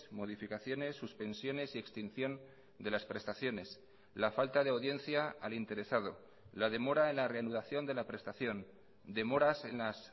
modificaciones suspensiones y extinción de las prestaciones la falta de audiencia al interesado la demora en la reanudación de la prestación demoras en las